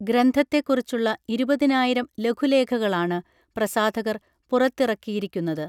ഗ്രന്ഥത്തെക്കുറിച്ചുള്ള ഇരുപതിനായിരം ലഘു ലേഖകളാണ് പ്രസാധകർ പുറത്തിറക്കിയിരിക്കുന്നത്